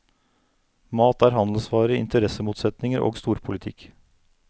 Mat er handelsvare, interessemotsetninger og storpolitikk.